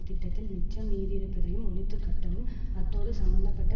திட்டத்தில் மிச்சம் மீதிருப்பதையும் ஒழித்து கட்டவும் அத்தோடு சம்மந்த பட்ட